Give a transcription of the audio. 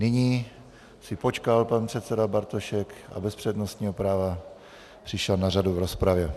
Nyní si počkal pan předseda Bartošek a bez přednostního práva přišel na řadu v rozpravě.